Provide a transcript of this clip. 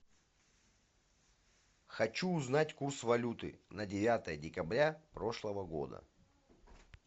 хочу узнать курс валюты на девятое декабря прошлого года